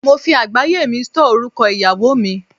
Mo fi àgbáyé mi stọ́ọ̀ orúkọ ìyàwó mi.